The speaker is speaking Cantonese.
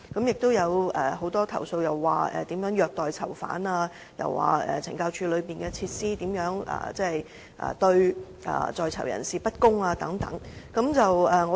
又有很多虐待囚犯的投訴，指控懲教單位內設施對在囚人士不公等。